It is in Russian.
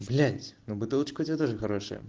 блять ну бутылочка у тебя тоже хорошая